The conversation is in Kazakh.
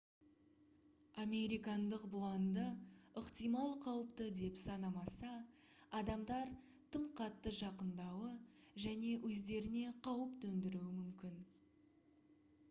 американдық бұланды ықтимал қауіпті деп санамаса адамдар тым қатты жақынадуы және өздеріне қауіп төндіруі мүмкін